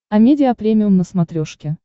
амедиа премиум на смотрешке